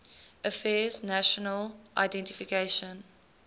affairs national identification